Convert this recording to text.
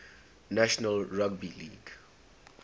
national rugby league